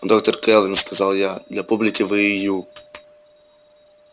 доктор кэлвин сказал я для публики вы и ю